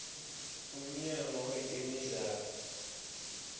umnyango wetemidlalo